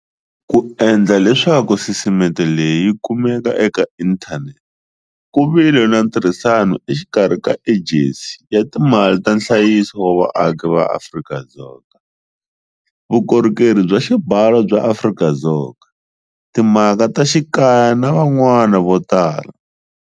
Ku endla leswaku sisiteme leyi yi kumeka eka inthanete ku vile na ntirhisano exikarhi ka Ejensi ya Timali ta Nhlayiso wa Vaaki ya Afrika-Dzonga, Vukorhokeri bya Xibalo bya Afrika-Dzonga, Ti mhaka ta Xikaya na van'wana vo tala.